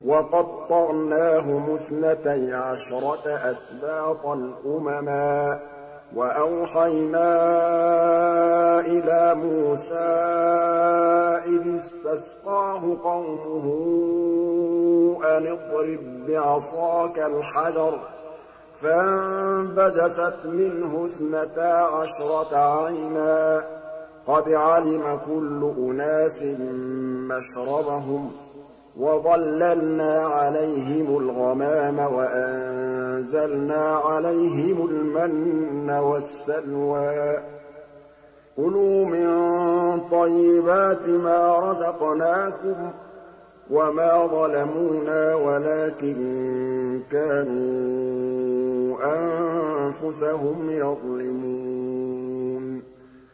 وَقَطَّعْنَاهُمُ اثْنَتَيْ عَشْرَةَ أَسْبَاطًا أُمَمًا ۚ وَأَوْحَيْنَا إِلَىٰ مُوسَىٰ إِذِ اسْتَسْقَاهُ قَوْمُهُ أَنِ اضْرِب بِّعَصَاكَ الْحَجَرَ ۖ فَانبَجَسَتْ مِنْهُ اثْنَتَا عَشْرَةَ عَيْنًا ۖ قَدْ عَلِمَ كُلُّ أُنَاسٍ مَّشْرَبَهُمْ ۚ وَظَلَّلْنَا عَلَيْهِمُ الْغَمَامَ وَأَنزَلْنَا عَلَيْهِمُ الْمَنَّ وَالسَّلْوَىٰ ۖ كُلُوا مِن طَيِّبَاتِ مَا رَزَقْنَاكُمْ ۚ وَمَا ظَلَمُونَا وَلَٰكِن كَانُوا أَنفُسَهُمْ يَظْلِمُونَ